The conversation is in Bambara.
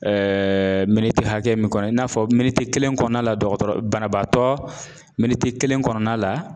miniti hakɛ min kɔnɔ i n'a fɔ miniti kelen kɔɔna la dɔgɔtɔrɔ banabaatɔ miniti kelen kɔnɔna la